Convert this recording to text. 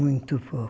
Muito pouco.